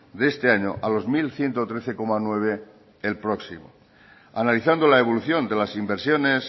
de este año a los mil ciento trece coma nueve el próximo analizando la evolución de las inversiones